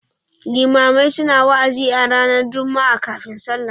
Limamai suna wa'azi a ranar Juma'a kafin sallah.